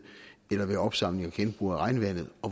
eller opsamling og genbrug af regnvandet